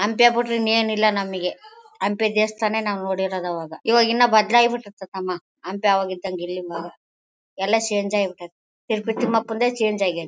ಹಂಪೆ ಬುಟ್ರೆ ಇನ್ನು ಏನಿಲ್ಲ ನಮಗೆ ಹಂಪೆ ದೇವಸ್ಥಾನ ನೋಡಿರೋದು ನಾವ್ ಅವಾಗ ಇವಾಗ ಇನ್ನು ಭದ್ರ ಆಗಿ ಬಿತ್ತತೆ ತಮ್ಮ ಹಂಪೆ ಅವಾಗಿದ್ದಂಗೆ ಇರ್ಲಿಲ್ಲ ಈಗ ಎಲ್ಲ ಚೇಂಜ್ ಬಿಟ್ಟತೆ ತಿರುಪತಿ ತಿಮ್ಮಪ್ಪಂದೆ ಚೇಂಜ್ ಆಗೈತೆ.